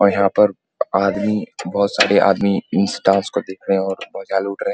और यहाँ पर आदमी बहुत सारे आदमी इस डांस को देख रहे है और मजा लुट रहे है।